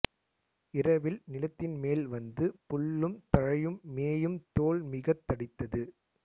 இரவில் நிலத்தின்மேல் வந்து புல்லும் தழையும் மேயும் தோல் மிகத் தடித்தது